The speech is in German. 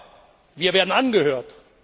Aber wir werden angehört.